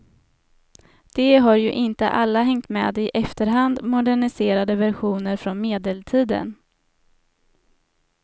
De har ju inte alla hängt med i efterhand moderniserade versioner från medeltiden.